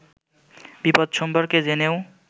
বিপদ সম্পর্কে জেনেও